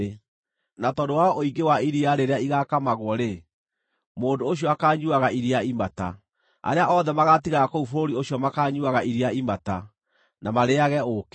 Na tondũ wa ũingĩ wa iria rĩrĩa igaakamagwo-rĩ, mũndũ ũcio akaanyuuaga iria imata. Arĩa othe magaatigara kũu bũrũri ũcio makaanyuuaga iria imata, na marĩĩage ũũkĩ.